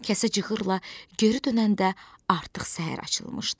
Kəsə cığırla geri dönəndə artıq səhər açılmışdı.